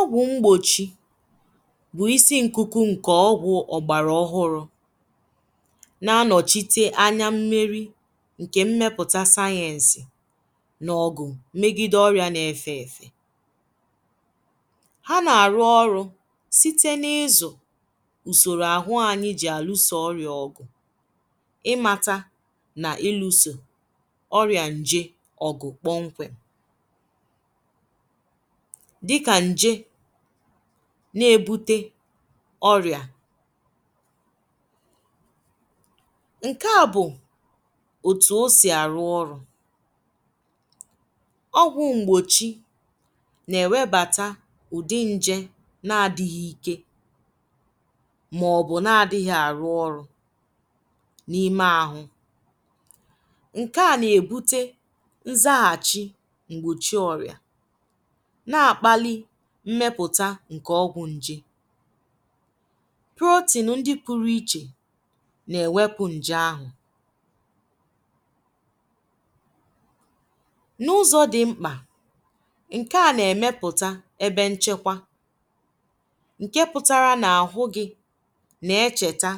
Ọgwụ̀ m̄gbochì bụ̀ isi nkukù nkè ọgwụ̀ ọ gbarà ọhụ̀rụ̀ na-anochìtè anya mmerì nkè mmeputà sayensì n’ọgụ̀ megidè ọyà na-efè efè hà na-arụ̀ ọrụ̀ usorò ahụ̀ ahụ̀ jì alusò ọrịà ọgụ̀ ịmatà n’ilusò ọrịà njè ọgụ̀ kponkwèm dịkà njè na-ebutè ọrịà nke à bụ̀ otù o sì arụ̀ ọrụ̀ ọgwụ̀ m̄gbochì na-ewebàtà udị̀ njè na-adị̀ghị̀ ike maọ̀bụ̀ na-adị̀ghị̀ arụ̀ ọrụ̀ n’imè ahụ̀ nke àna-ebutè nzaghàchì m̄gbochì ọrịà na-akpàlì mmeputà nkè ọgwụ̀ njè protein ndị̀ p̣rụ̀ ichè na-ewepù njè ahụ̀ n’ụzọ̀ dị̀ m̄kpà nke à na-emèpùtà ebe nchekwà nkè pụ̀tarà n’ahụ̀ gị̀ na-echetà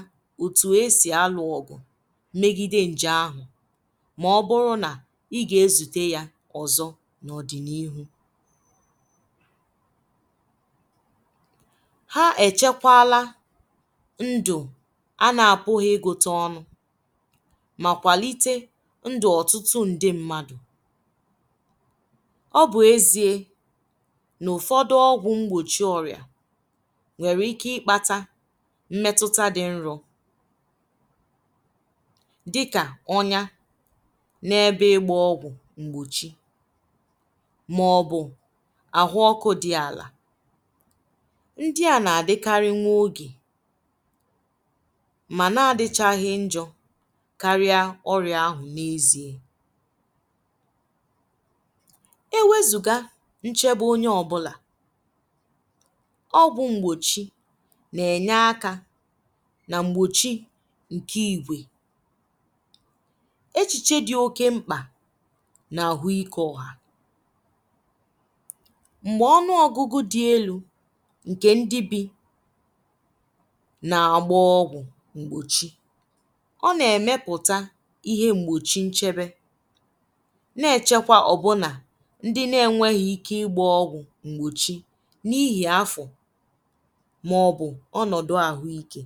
otù e sì alụ̀ ọgụ̀ megidè njè ahụ̀ maọ̀bụ̀rụ̀ nà ị ga-ezutè yà ọzọ̀ n’ ọdị n’ihù hà echekwàlà ndụ̀ a na-apụ̀ghị̀ ịgụtà ọnụ̀ mà kwàlitè ndụ̀ ọtụtụ ndị̀ mmadụ̀ ọ bụ̀ eziè n’ọfọdụ̀ ọgwụ̀ m̄gbochì ọrịà nwerè ike ịkpàtà mmetutà dị̀ nrọ̀ dịkà ọnyà na-ebè ịgbà ọgwụ̀ m̄gbochì maọ̀bụ̀ ahụ̀ ọkụ̀ dị̀ àlà ndị à na-adịkarị̀ nwè ogè mànà adịchaghị̀ njọ̀ kariè ọrịà ahụ̀ n’eziè ewezùgà nchebè onyè ọbụlà ọgwụ̀ m̄gbochì na-enyè aka nà m̄gbochì nkè ìgwè echichè dị̀ okè m̄kpà n’ahụ̀ ike ọhà m̄gbè ọnụ̀ ọgụ̀gụ̀ dị̀ elù nkè ndị̀ bì na-agbà ọgwụ̀ m̄gbochì ọ na-emèputà ihe m̄gbchì nchebè na-echekwà ọbụnà ndị̀ na-enwèghì ike ịgbà ọgwụ̀ ṃgbochì n’ihì afọ̀ maọ̀bụ̀ ọnọ̀dụ̀ ahụ̀ ike